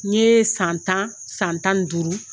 N ye san tan san tan ni duuru